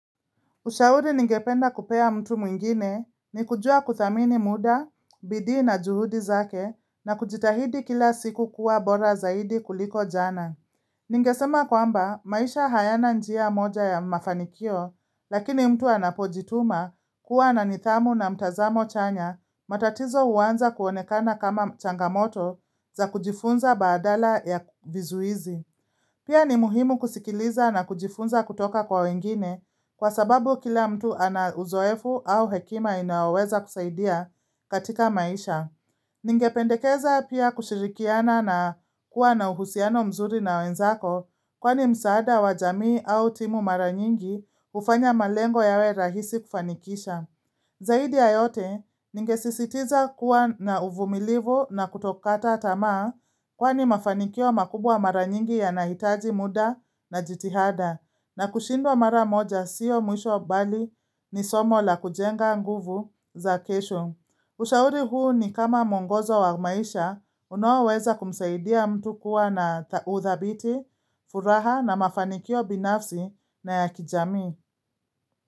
Ushauri ningependa kupea mtu mwingine ni kujua kudhamini muda, bidii na juhudi zake na kujitahidi kila siku kuwa bora zaidi kuliko jana. Ningesema kwamba maisha hayana njia moja ya mafanikio lakini mtu anapojituma kuwa na nidhamu na mtazamo chanya matatizo huanza kuonekana kama changamoto za kujifunza badala ya vizuizi. Pia ni muhimu kusikiliza na kujifunza kutoka kwa wengine kwa sababu kila mtu ana uzoefu au hekima inayoweza kusaidia katika maisha. Ningependekeza pia kushirikiana na kuwa na uhusiano mzuri na wenzako kwani msaada wa jamii au timu mara nyingi hufanya malengo yawe rahisi kufanikisha. Zaidi ya yote ningesisitiza kuwa na uvumilivu na kutokata tamaa kwani mafanikio makubwa mara nyingi yanahitaji muda na jitihada na kushindwa mara moja siyo mwisho mbali ni somo la kujenga nguvu za kesho. Ushauri huu ni kama mwongozo wa maisha unaoweza kumsaidia mtu kuwa na udhabiti, furaha na mafanikio binafsi na ya kijamii.